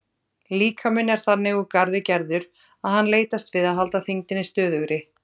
Líkaminn er þannig úr garði gerður að hann leitast við að halda þyngdinni stöðugri.